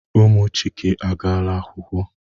Ụmụ Chike agaala akwụkwọ.